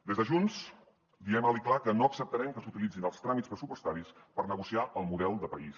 des de junts diem alt i clar que no acceptarem que s’utilitzin els tràmits pressupostaris per negociar el model de país